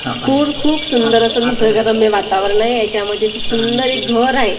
पूर खूप सुंदर असं निसर्गरम्य वातावरण आहे याच्यामध्ये खूप सुंदर असं घर आहे.